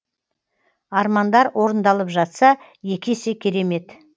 армандар орындалып жатса екі есе керемет